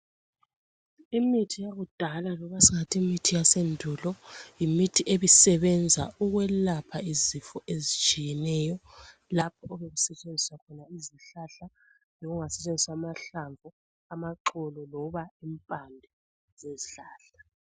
Imithi yakudala loba singathi imithi yasendulo yimithi ebisebenza ukwelapha izifo etshiyeneyo lapho ebekusetshenziwa khona izihlahla, noma kungasetshenziswa amahlamvu, amaxolo loba impande zezihlahla.